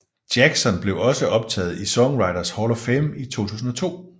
Jackson blev også optaget i Songwriters Hall of Fame i 2002